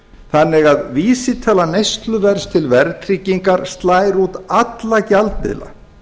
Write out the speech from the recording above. þannig að vísitala neysluverðs til verðtryggingar slær út alla gjaldmiðla